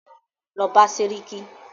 Lọ bá sẹ́ríkí!